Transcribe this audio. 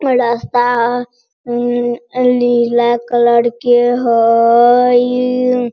रास्ता ह उ उ नीला कलर के हईई।